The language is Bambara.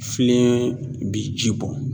Filen bi ji bɔn